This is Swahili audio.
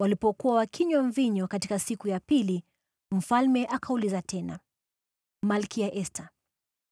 Walipokuwa wakinywa mvinyo katika siku ya pili, mfalme akauliza tena, “Malkia Esta,